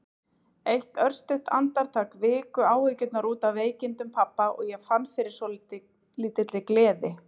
Eitt örstutt andartak viku áhyggjurnar út af veikindum pabba og ég fann fyrir svolítilli gleði.